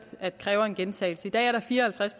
at det kræver en gentagelse i dag er der fire og halvtreds